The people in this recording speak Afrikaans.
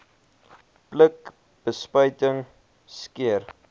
pluk bespuiting skeer